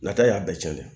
Nata y'a bɛɛ cɛn